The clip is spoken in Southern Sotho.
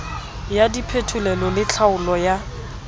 ya diphetolelo le tlhaolo ya